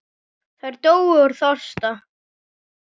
Þær dóu úr þorsta.